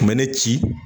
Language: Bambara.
Kun bɛ ne ci